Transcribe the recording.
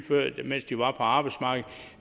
mens de var på arbejdsmarkedet